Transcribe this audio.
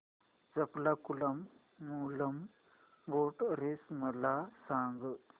Champakulam Moolam boat race मला सांग